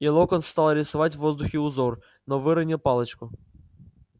и локонс стал рисовать в воздухе узор но выронил палочку